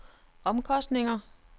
omkostninger